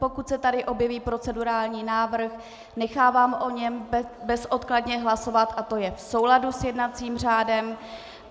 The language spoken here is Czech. Pokud se tady objeví procedurální návrh, nechávám o něm bezodkladně hlasovat a to je v souladu s jednacím řádem.